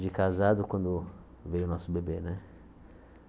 de casado quando veio o nosso bebê, né?